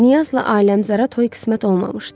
Niyazla Aləmqəzərə toy qismət olmamışdı.